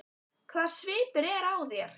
Hvaða svipur er á þér!